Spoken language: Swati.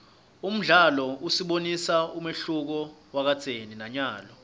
umlandvo usibonisa umehluko wakadzeni nanyalo